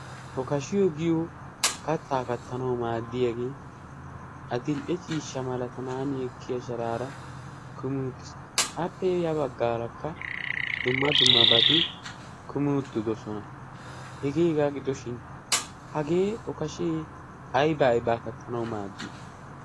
okashiyo giyo kattaa kattanau maaddiyaagee adil"e ciissha malatanan yekkiya sharaara kumiuttiis appe ya baggaarakka dumma dumma bati kumiuttidosona hegeegaa gidoshin hagee okashee aybay baa kattanau maaddii?